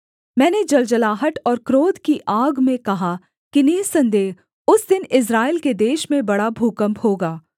मैंने जलजलाहट और क्रोध की आग में कहा कि निःसन्देह उस दिन इस्राएल के देश में बड़ा भूकम्प होगा